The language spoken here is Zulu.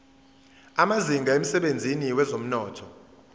amazinga emsebenzini wezomnotho